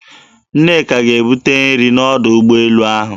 Nneka ga-ebute nrị n'ọdọ ụgbọelu ahụ.